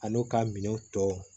A n'u ka minɛnw tɔ